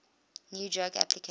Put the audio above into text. new drug application